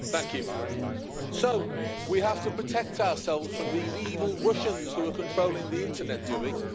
Mr President, so we have to protect ourselves from these evil Russians who are controlling the internet, do we?